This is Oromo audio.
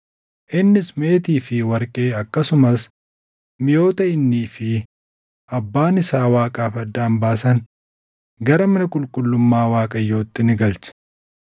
Innis meetii fi warqee akkasumas miʼoota innii fi abbaan isaa Waaqaaf addaan baasan gara mana qulqullummaa Waaqayyootti ni galche.